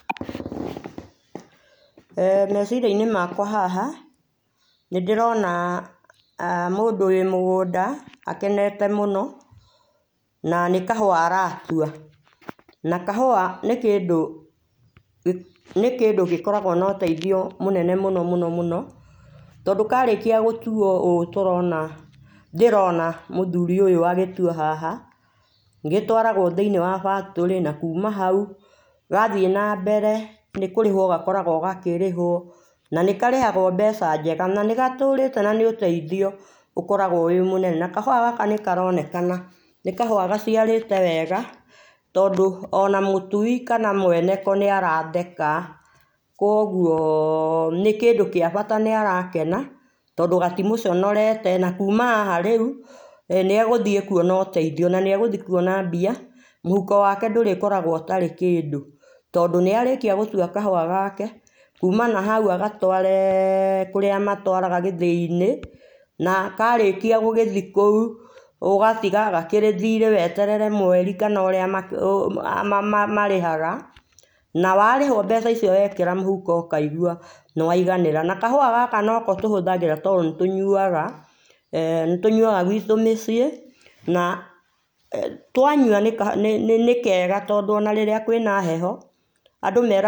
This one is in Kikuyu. Eeh meciria inĩ makwa haha, nĩndĩrona mũndũ wĩ mũgũnda akenete mũno na nĩkahũa aratũa, na kaha nĩ kĩndũ nĩ kĩndũ gĩkoragwo na ũteithio mũnene mũno mũno tondũ karĩkia gũtuo ũũ tũrona ndĩrona mũthũri ũyũ agĩtũa haha , gĩtwaragwo thĩinĩ wa factory na kũma haũ gathiĩ na mbere nĩ kũrĩhwo gakoragwo agkĩrĩhwo na nĩkarĩhagwo mbeca njega nanĩgatũrĩte na nĩ ũteithio ũkoragwo wĩ mũnene na kahũa gaka nĩka ronekana nĩkahũa gaciarĩte wega tondũ ona mũtui kana mwene ko nĩ aratheka kũogũo nĩ kĩndũ gĩa bata nĩarakena tondũ gatimũconorete na kũma haha rĩũ e nĩegũthiĩ kũona ũteithio na nĩegũthiĩ kũona mbia mũhuko wake ndũrĩkoragwo ũtarĩ kĩndũ tondũ nĩarĩkia gũtũa kahũa gake kũmana na haũ agatware kũra magatwaraga gĩthĩ inĩ na warĩkĩa gũgatwara kũu ũagtĩga gakĩrĩ thĩrĩ weterere mweri kana ũrĩa marĩhaga na warĩhwo mbeca icio waikia mũhũko ũkaigũa nĩwaiganĩra na kahũa gaka noko tũhũthagĩra to nĩtũnyũaga e nĩtũnyũaga gwitũ mĩciĩ na twanyua nĩkega tondũ ona rĩrĩa kwĩna heho andũ.